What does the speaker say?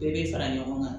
Bɛɛ bɛ fara ɲɔgɔn kan